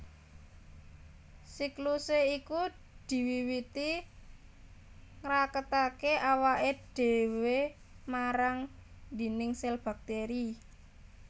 Siklusé iku diwiwiti ngraketaké awaké dhéwé marang dhindhing sèl baktèri